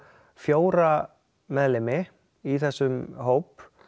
fjóra meðlimi í þessum hóp